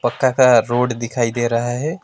तथा रोड दिखाई दे रहा है।